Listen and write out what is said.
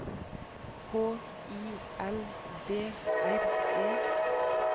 H I L D R E